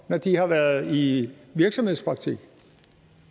når de har været i virksomhedspraktik